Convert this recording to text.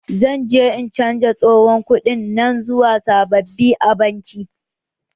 Zan je in canja tsohon kuɗaɗen nan zuwa sababbi a banki.